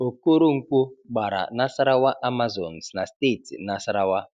Okoronkwo gbara Nasarawa Amazons na steeti Nasarawa.